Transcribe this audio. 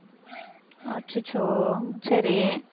அச்சச்சோ சரி